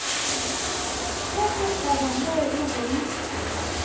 ge sekgoba mo go beng